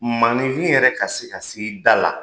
Maninfin yɛrɛ ka se ka s'i da la